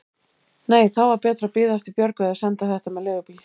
Nei, þá var betra að bíða eftir Björgu eða senda þetta með leigubíl.